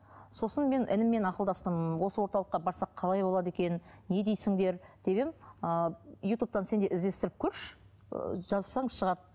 сосын мен ініммен ақылдастым осы орталыққа барсақ қалай болады екен не дейсіңдер деп едім ы ютубтан сен де іздестіріп көрші ы жазсаң шығады